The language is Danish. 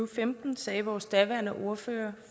femten sagde vores daværende ordfører